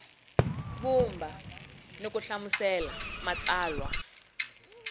vumba ni ku hlamusela matsalwa